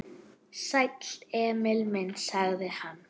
Sæll, Emil minn, sagði hann.